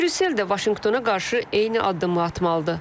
Brüssel də Vaşinqtona qarşı eyni addımı atmalıdır.